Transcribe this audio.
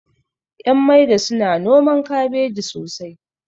ƴan maida suna noman kabeji sosai